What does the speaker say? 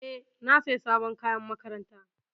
E, na sayi sabon kayan makaranta.